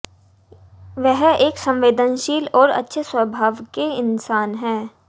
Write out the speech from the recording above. वह एक संवेदनशील और अच्छे स्वभाव के इनसान हैं